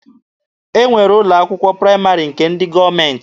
E nwere ụlọ akwụkwọ praịmarị nke ndị gọọmenti